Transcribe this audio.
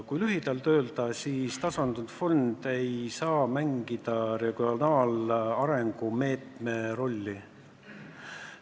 Kui lühidalt öelda, siis tasandusfond ei saa mängida regionaalarengu meetme rolli.